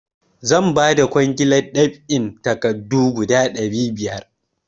Zan ba da kwangilar ɗab'in takardu guda ɗari biyar.